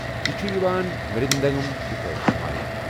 یہِ چُھ یِوان مِرٛدنٛگم کہِ پٲٹھۍ واینہٕ۔